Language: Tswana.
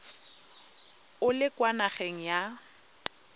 o le kwa nageng ya